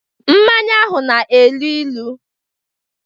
Mmanya ahụ na-elu ilu